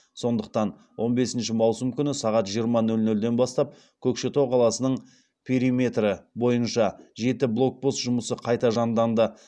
сондықтан он бесінші маусым күні сағат жиырма нөл нөлден бастап көкшетау қаласының периметрі бойынша жеті блокпост жұмысы қайта жанданды